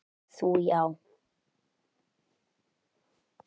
Þú já.